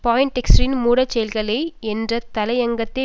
பாயின்டெக்ஸ்டரின் மூடச்செயல்கள் என்ற தலையங்கத்தை